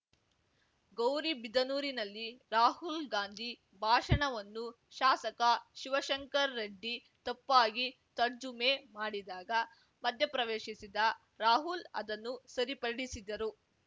ಗೌರಿಬಿದನೂರಿನಲ್ಲಿ ರಾಹುಲ್‌ ಗಾಂಧಿ ಭಾಷಣವನ್ನು ಶಾಸಕ ಶಿವಶಂಕರ್ ರೆಡ್ಡಿ ತಪ್ಪಾಗಿ ತರ್ಜುಮೆ ಮಾಡಿದಾಗ ಮಧ್ಯಪ್ರವೇಶಿಸಿದ ರಾಹುಲ್‌ ಅದನ್ನು ಸರಿಪಡಿಸಿದರು